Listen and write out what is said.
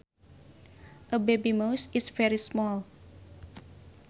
A baby mouse is very small